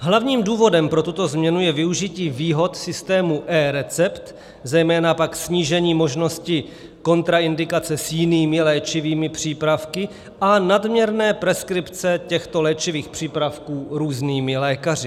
Hlavním důvodem pro tuto změnu je využití výhod systému eRecept, zejména pak snížení možnosti kontraindikace s jinými léčivými přípravky a nadměrné preskripce těchto léčivých přípravků různými lékaři.